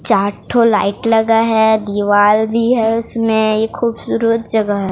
चार लाइट लगा है दीवार भी है इसमें ये खूबसूरत जगह है।